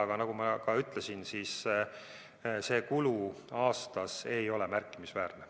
Aga nagu ma ütlesin, siis see kulu aasta kohta ei ole märkimisväärne.